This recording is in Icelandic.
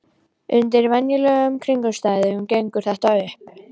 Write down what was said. Undir venjulegum kringumstæðum gengur þetta upp.